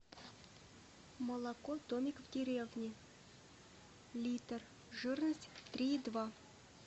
молоко домик в деревне литр жирность три и два